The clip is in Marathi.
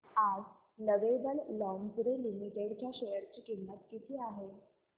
आज लवेबल लॉन्जरे लिमिटेड च्या शेअर ची किंमत किती आहे